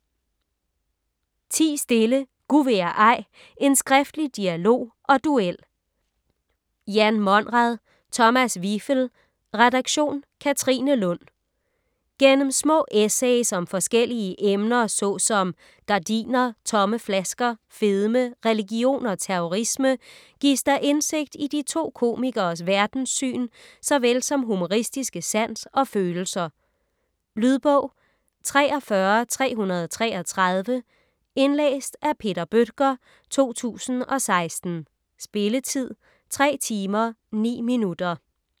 Ti stille! Gu' vil jeg ej: en skriftlig dialog og duel Jan Monrad ; Thomas Wivel, redaktion: Katrine Lund. Gennem små essays om forskellige emner såsom gardiner, tomme flasker, fedme, religion og terrorisme, gives der indsigt i de to komikeres verdenssyn såvel som humoristiske sans og følelser. Lydbog 43333 Indlæst af Peter Bøttger, 2016. Spilletid: 3 timer, 9 minutter.